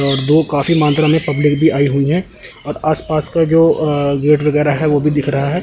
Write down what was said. और वो काफी मात्रा में पब्लिक भी आई हुई हैं और आस पास का जो अ गेट वगैर जो है वो भी दिख रहा है।